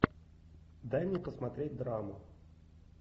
дай мне посмотреть драму